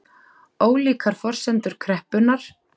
Ólíkar forsendur kreppunnar